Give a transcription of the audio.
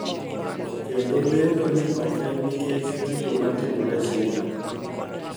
Kendo lendo ni ok en nikech gigo ma timore China